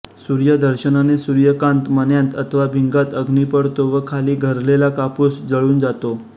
सूर्यदर्शनानें सूर्यकांत मण्यांत अथवा भिंगांत अग्नी पडतो व खालीं घरलेला कापूस जळून जातो